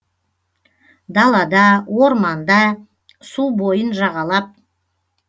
далада орманда су бойын жағалап